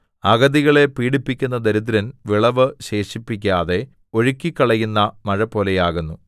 അഗതികളെ പീഡിപ്പിക്കുന്ന ദരിദ്രൻ വിളവ് ശേഷിപ്പിക്കാതെ ഒഴുക്കിക്കളയുന്ന മഴപോലെയാകുന്നു